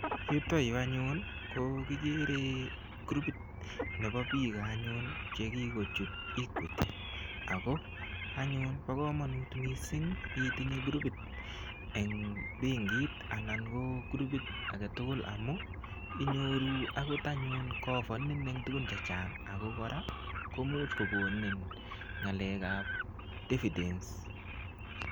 Yuto yu anyun ko kigere kurupit nebo biik anyun ne kigochut Equity. Ago anyun bo kamanut mising itinye kurupit eng benkit anan ko kurupit agetugul amu inyoru agot anyun kokafanin eng tugun chechang. Kora ko much kogonin ngalekab dividends